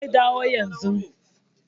Zai dawo yanzun